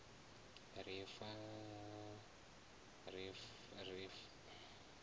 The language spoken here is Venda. ri farane ri si hangwe